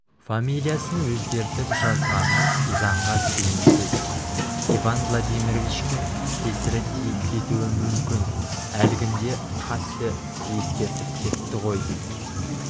фамилиясын өзгертіп жазғаны заңға сыйымсыз иван владимировичке кесірі тиіп кетуі мүмкін әлгінде қатты ескертіп кетті ғой